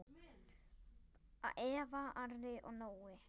Börn: Eva, Ari og Nói.